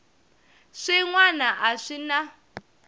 swin wana a swi na